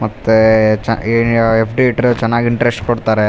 ಮತ್ತೇ ಚಾ ಏಏಆ ಎಫ್.ಡಿ. ಇಟ್ಟ್ರೆ ಚನ್ನಾಗ್ ಇಂಟ್ರೆಸ್ಟ್ ಕೊಡ್ತಾರೆ.